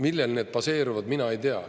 Millel need baseeruvad, mina ei tea.